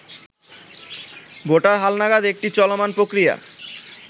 voter হালনাগাদ একটি চলমান প্রক্রিয়া